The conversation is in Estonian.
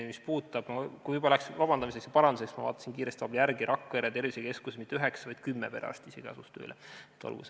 Ning kui juba vabandamiseks ja parandamiseks läks, siis ütlen veel, et vaatasin vahepeal kiiresti järele, Rakvere tervisekeskus ei asunud tööle mitte 9, vaid isegi 10 perearsti.